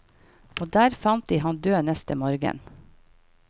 Og der fant de han død neste morgen.